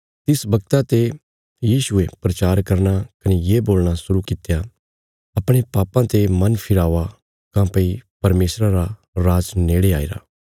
तिस बगता ते यीशुये प्रचार करना कने ये बोलणा शुरु कित्या अपणे पापां ते मन फिरावा काँह्भई परमेशरा रा राज नेड़े आईरा